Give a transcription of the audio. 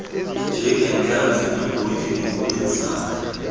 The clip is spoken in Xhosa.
njengentlanzi neembotyi nokunezakha